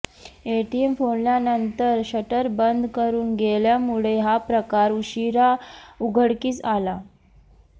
ATM फोडल्यानंतर shutter बंद करून गेल्यामुळे हा प्रकार उशिरा उघडकीस आला